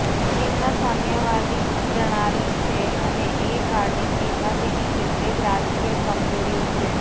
ચીનમાં સામ્યવાદી પ્રણાલિ છે અને એ કારણે ચીનમાં તેની કેટલીક રાજકીય કમજોરીઓ છે